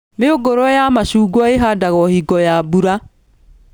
Mĩũngũrwa ya macungwa ĩhandagwo hingo ya mbura